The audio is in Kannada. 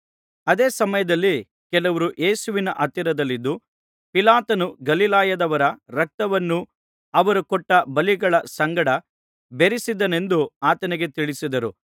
ಅದೇ ಸಮಯದಲ್ಲಿ ಕೆಲವರು ಯೇಸುವಿನ ಹತ್ತಿರದಲ್ಲಿದ್ದು ಪಿಲಾತನು ಗಲಿಲಾಯದವರ ರಕ್ತವನ್ನು ಅವರು ಕೊಟ್ಟ ಬಲಿಗಳ ಸಂಗಡ ಬೆರಸಿದನೆಂದು ಆತನಿಗೆ ತಿಳಿಸಿದರು